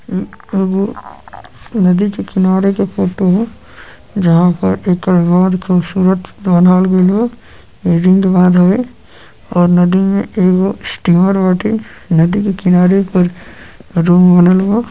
आगे नदी के किनारे की फोटो ह। जहां पर बहुत हीं खूबसूरत बाँध गइल बा। राजेंद्र महानगर और नदी एगो स्ट्रीमर बाटे नदी के किनारे के --